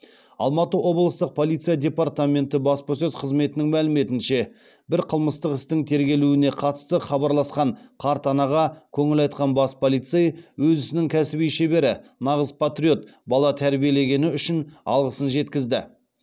алматы облыстық полиция департаменті баспасөз қызметінің мәліметінше бір қылмыстық істің тергелуіне қатысты хабарласқан қарт анаға көңіл айтқан бас полицей өз ісінің кәсіби шебері нағыз патриот бала тәрбиелегені үшін алғысын жеткізді